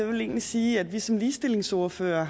ville egentlig sige at vi som ligestillingsordførere